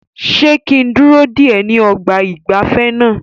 Ṣé kí n dúró dè ẹ́ ní ọgbà ìgbafẹ́ náà?